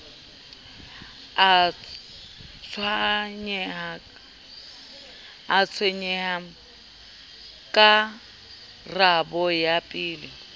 a tshwaye karabo ya pele